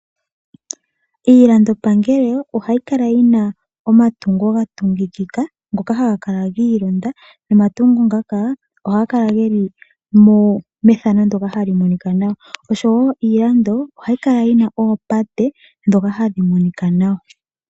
Iilandopangelo ohayi kala yina omatungo ga tungikika. Ngoka haga kala giilonda nomatungo ngaka ohaga kala geli methano ndyoka hali monika nawa. Osho woo iilando ohayi kala yina oopate ndhoka hadhi Monika nawa.